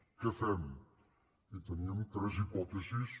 què fem i teníem tres hipòtesis